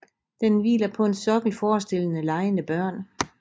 Den hviler på en sokkel forestillende legende børn